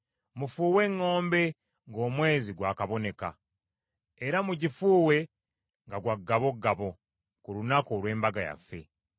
Mufuuwe eŋŋombe ng’omwezi gwakaboneka, era mugifuuwe nga gwa ggabogabo, ku lunaku olw’embaga yaffe.